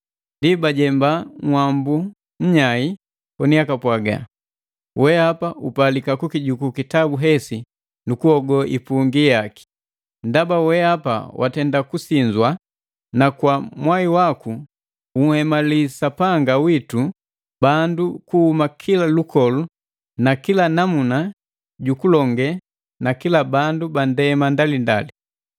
Ndi bajemba nhwambu nnyai koni apwaga: “Weapa upalika kukijuku kitabu hesi nu kuhogo ipungi yaki. Ndaba weapa watenda kusinzwa, na kwa mwai waku unhemali Sapanga witu bandu kuhuma kila lukolu na kila namna ju kulonge na kila bandu bandema ndalindali.